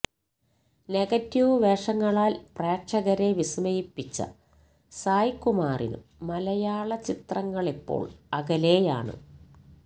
negative വേഷങ്ങളാല് പ്രേക്ഷകരെ വിസ്മയിപ്പിച്ച സായ്കുമാറിനും മലയാള ചിത്രങ്ങളിപ്പോള് അകലെയാണ്